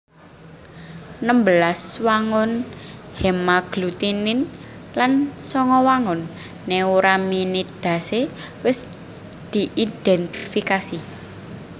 Nembelas wangun hémagglutinin lan sanga wangun néuraminidase wis diidhèntifikasi